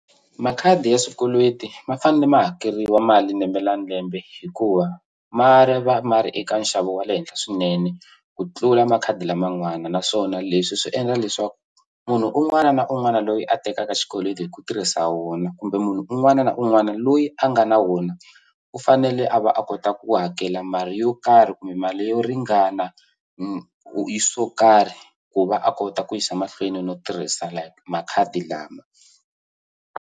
Makhadi ya swikweleti ma fanele ma hakeriwa mali lembe na lembe hikuva ma ma ri eka nxavo wa le henhla swinene ku tlula makhadi laman'wana naswona leswi swi endla leswaku munhu un'wana na un'wana loyi a tekaka xikweleti hi ku tirhisa wona kumbe munhu un'wana na un'wana loyi a nga na wona u fanele a va a kota ku hakela mali yo karhi kumbe mali yo ringana swo karhi ku va a kota ku yisa mahlweni no tirhisa makhadi lama.